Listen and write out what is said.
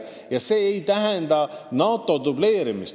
See ei tähenda NATO dubleerimist.